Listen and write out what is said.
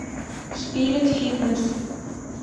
спирит фитнес